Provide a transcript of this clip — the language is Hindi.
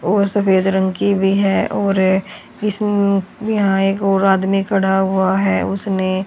और सफेद रंग की भी है और इस यहां एक और आदमी खड़ा हुआ है उसने--